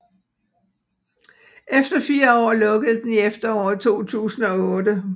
Efter 4 år lukkede den i efteråret 2008